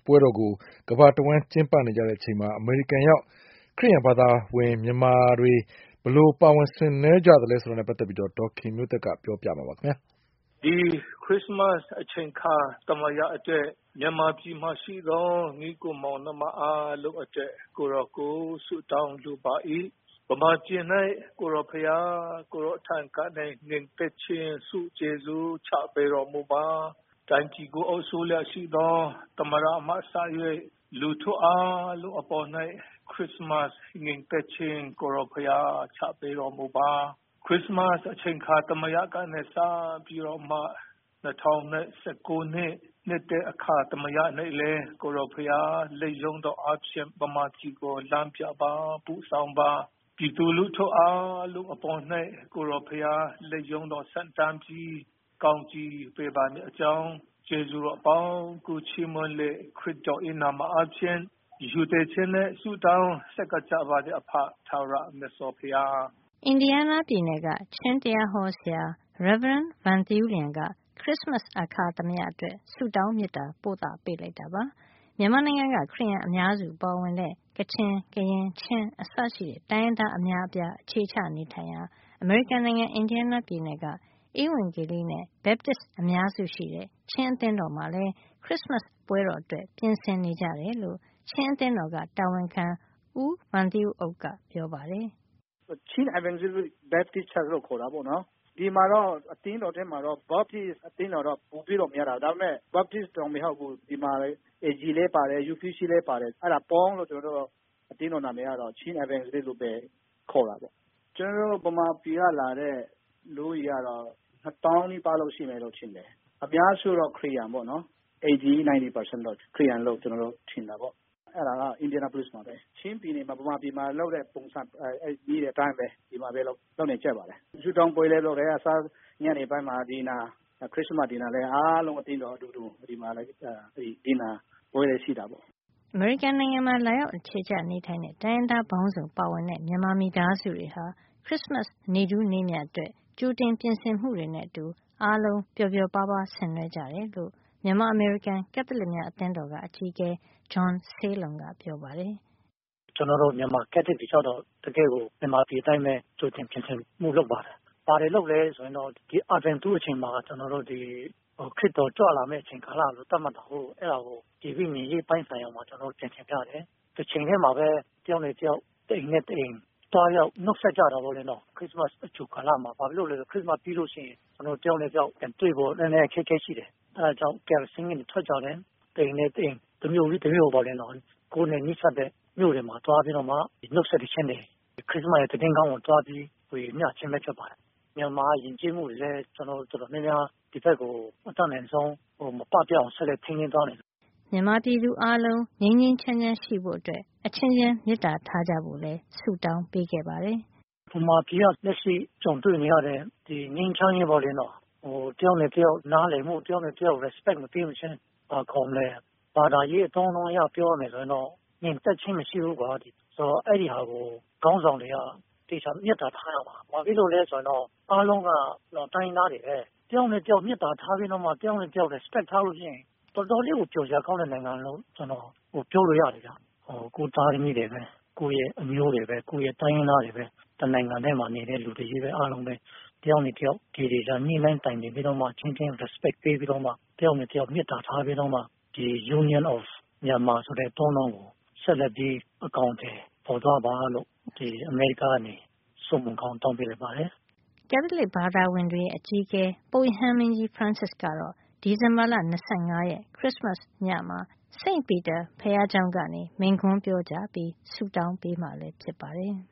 ပွဲတော်ကို ကမ္ဘာတဝှမ်း ကျင်းပနေကြ ချိန်မှာ အမေရိကန်ရောက် ခရစ်ယန်ဘာသာဝင် မြန်မာတွေဘယ်လို ပါဝင်ဆင်နွှဲကြတယ် ဆိုတာကို ဒေါ်ခင်မျိုးသက်က ပြောပြပေးမှာပါ။ "ဒီခရစ်စမတ်အချိန်အခါ သမယအတွင်း မြန်မာပြည်မှာရှိသော ညီအကိုမောင်နှမအားလုံးအတွက် ကိုယ်တော်ကို ဆုတောင်းလိုပါသည်။ မြန်မာပြည်တွင် ကိုယ်တော်ထံကနေ ငြိမ်သက်ခြင်းဆုကျေးဇူးချပေးတော်မှုပါ။ တိုင်းပြည်ကို အုပ်စိုးလျက်ရှိသော သမ္မတမှစ၍ လူထုအားလုံးအပေါ်တွင် ခရစ်စမတ် ငြိမ်သက်ခြင်း ကိုယ်တော်ဘုရားချပေးတော်မှုပါ။ ခရစ်စမတ်အချိန်အခါ သမယကနေစပြီးတော့ ၂၀၁၉ နှစ်သစ်အချိန်အခါ သမယတွင်လည်း ကိုယ်တော်ဘုရားလက်ရုန်းတော်အားဖြင့် မြန်မာပြည်ကို လမ်းပြပါ၊ ပို့ဆောင်ပါ။ ပြည်သူလူထုအားလုံး အပေါ်တွင်လည်း ကိုယ်တော်ဘုရားလက်ရုန်းတော်ဆန့်တန်းပြီး ကောင်းကြီးပေးပါမည့်အကြောင်း ကျေးဇူးတော်အပေါင်းကိုချီးမွန်းပြီး ခရစ်တော်နာမဖြင့် ရိုသေချင်းနှင့်ဆုတောင်းဆပ်ကပ်ကြပါတယ် ၊ အဖ ထာဝရ မြတ်စွာဘုရား။" အင်ဒီယားနားပြည်နယ်က ချင်းတရားဟောဆရာ Rv. Van Thawng Lian က ခရစ်စမတ်အခါသမယ အတွက် ဆုတောင်း မေတ္တာ ပို့သပေးလိုက်တာပါ။ မြန်မာနိုင်ငံက ခရစ်ယာန်အများစုပါဝင်တဲ့ ကချင်၊ ကရင်၊ ချင်း အစရှိတဲ့ တိုင်းရင်းသား အများအပြား အခြေချရာ အမေရိကန်နိုင်ငံ အင်ဒီယားနားပြည်နယ်က ဧဝံဂေလိနဲ့ Baptists အများစုရှိတဲ့ ချင်းအသင်းတော်မှာလည်း ခရစ်စမတ်ပွဲတော် အတွက် ပြင်ဆင်နေကြတယ်လို့ ချင်းအသင်းတော်က တာဝန်ခံ ဦး Van Ceu Uk ကပြောပါတယ်။ "Chin Evangelical Baptist Church လို့ခေါ်တာပေါ့နော် ဒီမှာတော့ အသင်းတော်မှာတော့ Baptist Church ပိုများတာပေါ့နော် ဒီမှာက Baptist မကဘူး ဒီမှာ AG လည်းပါတယ်။ အဲဒါတွေပေါင်းပြီးတော့ ဖြစ်လာတာပေါ့နော်။ ကျနော်တို့မြန်မာပြည်ကလာတဲ့ လူဦးရေကတော့ ၂ သောင်းနီးပါးရှိမယ်လို့ထင်တယ် အများစုကတော့ ၈၀၊ ၉၀ ရာခိုင်နှုန်းလို့ ခရစ်ယာန်လို့ထင်တာပေါေ့နာ် အဲဒါက Indianapolis မှာပါပဲ ။ ချင်းပြည်နယ်မှာ မြန်မာပြည်မှာလုပ်တဲ့ပုံစံအတိုင်း ဆုတောင်းပွဲလည်းလုပ်တယ် ညနေမှာ Christmas Dinner လည်းအားလုံးကို အသင်းတော်ကလူတွေ ဖိတ်ပြီးတော့ ဒီမှာ Dinner ပွဲလည်းရှိတာပေါ့” အမေရိကန်နိုင်ငံမှာ လာရောက် အခြေချနေထိုင်တဲ့ တိုင်းရင်းသားပေါင်းစုံ ပါဝင်တဲ့ မြန်မာမိသားစုတွေဟာ ခရစ်စမတ်နေ့ထူးနေ့မြတ်အတွက် ကြိုတင်ပြင်ဆင်မှုတွေနဲ့ အတူ အားလုံးပျော်ပျော်ပါးပါး ဆင်နွှဲကြတယ်လို့ မြန်မာ- အမေရိကန် ကက်သလစ်များ အသင်းက အကြီးအကဲ John Sailon ကပြောပါတယ်။ “ကျနော်တို့ မြန်မာ ကက်သလစ်တွေကတော့ တကယ့်ကို မြန်မာပြည်အတိုင်းပဲ တကယ့်ကို ကြိုတင်ပြင်ဆင်မှုလုပ်ပါတယ်။ ဘာလုပ်သလဲဆိုတော့ ခရစ်တော်ကြွလာမယ့်အချိန်ကာလလို့ သတ်မှတ်တာကို အဲဒါကို ဒီဝိညာဉ်ရေးပိုင်းဆိုင်ရာမှာတော့ ပြန်ရှင်းထားတယ်။ တချိန်တည်းမှာပဲ တယောက်နဲ့တယောက် တအိမ်နဲ့တအိမ်သွားရောက် နှုတ်ဆက်ကြတာပေါ့။ ခရစ်စမတ်အကြိုကာလမှာ ဘာဖြစ်လို့လဲဆိုတော့ ခရစ်စမတ်ကာလမှာတယောက်နဲ့ တယောက်ပြန်တွေ့ဖို့ နည်းနည်းအခက်အခဲရှိတယ် ။ အဲဒါကြောင့် carol singing တွေထွက်ကြတယ် တအိမ်နဲ့တအိမ် တမြို့ပြီးတမြို့ပေါ့နော် ။ ကိုယ်နဲ့ နီးစပ်တဲ့ မြို့တွေမှာ နှုတ်ဆက်သီချင်းတွေ ခရစ်စမတ်သတင်းကောင်းတွေကိုသွားပြီး စေမျှချင်းလည်းဖြစ်တယ်။ မြန်မာယဉ်ကျေးမှုတွေလည်း ကျနော်တို့ တော်တော်များများ ဒီဘက်ကို အတတ်နိုင်ဆုံး မပပျောက်အောင် ဆက်လက်ထိန်းသိမ်းသွားမယ်" မြန်မာပြည်သူအားလုံးလည်း ငြိမ်းငြိမ်းချမ်းချမ်း ရှိဖို့အတွက် အချင်းချင်း မေတ္တာထားကြဖို့လည်း ဆုတောင်းပေးခဲ့ပါတယ်။ "မြန်မာပြည်က လက်ရှိ ကြုံတွေ့နေရတဲ့ ငြိမ်းချမ်းရေးပေါ့လေ တယောက်နဲ့တယောက် နားလည်မှု တယောက်နဲ့တယောက် respect မပေးမချင်း ဘာသာရေးအသုံးအနှုန်းအရ ပြောရမယ်ဆိုရင်တော့ ငြိမ်သက်ချင်းမရှိဘူးပေ့ါ ဆိုတော့ အဲဒါကို ခေါင်းဆောင်တွေက သေချာ မေတ္တာထားရမယ်။ ဘာဖြစ်လို့လဲဆိုရင်တော့ အားလုံးက တိုင်းရင်းသားတွေပဲ တယောက်နဲ့တယောက်မေတ္တာထားပြီးတော့ တယောက်နဲ့တယောက် respect ထားလို့ရှိရင် တော်တော်လေးကို ပျော်စရာကောင်းတဲ့နိုင်ငံလို့ ပြောလို့ရပါတယ် ၊ ကိုယ့်သားသမီး၊ ကိုယ့်အမျိုးတွေပဲ ၊ ကိုယ့်တိုင်းရင်းသားတွေပဲ တနိုင်ငံထဲမှာနေတဲ့လူတွေအားလုံးပဲ တယောက်နဲ့တယောက် သေသေချာချာ ညှိနှိုင်းတိုင်ပင်ပြီးတော့ အချင်းချင်း respect ပေးပြီးတော့ တယောက်နဲ့တယောက် မေတ္တာထားပြီးတော့ Union of Myanmar ဆိုတဲ့အသုံးအနှုန်းကို ဆက်လက်ပြီး အကောင်အထည်ဖော်သွားပါလို့ အမေရိကားကနေ ဆုမွန်ကောင်းတောင်းလိုက်ပါတယ်။ ကက်သလစ်ဘာသာဝင်တွေရဲ့ အကြီးအကဲ ပုပ်ရဟန်းမင်းကြီး ဖရန်စစ်ကတော့ ဒီဇင်ဘာလ ၂၅ ရက် ခရစ်စမတ်ညမှာ St Peter စိန့်ပီတာ ဘုရားကျောင်းကနေ မိန့်ခွန်းပြောကြားပြီး ဆုတောင်းပေးမှာ ဖြစ်ပါတယ်။